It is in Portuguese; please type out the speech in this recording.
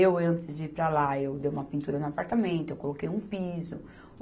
Eu, antes de ir para lá, eu dei uma pintura no apartamento, eu coloquei um piso.